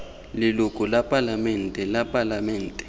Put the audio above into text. leloko la palamente la palamente